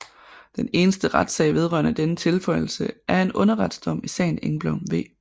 Den eneste retssag vedrørende denne tilføjelse er en underretsdom i sagen Engblom v